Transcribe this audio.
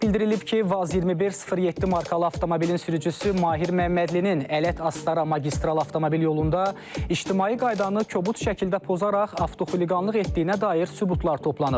Bildirilib ki, Vaz 2107 markalı avtomobilin sürücüsü Mahir Məmmədlinin Ələt-Astara magistral avtomobil yolunda ictimai qaydanı kobud şəkildə pozaraq avtoxuliqanlıq etdiyinə dair sübutlar toplanıb.